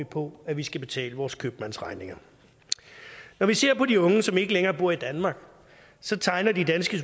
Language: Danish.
på at vi skal betale vores købmandsregninger når vi ser på de unge som ikke længere bor i danmark så tegner de danske